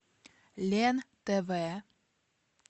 лен тв